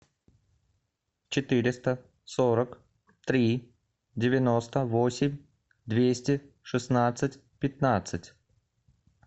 четыреста сорок три девяносто восемь двести шестнадцать пятнадцать